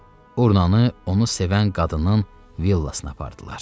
Urnanı onu sevən qadının villasına apardılar.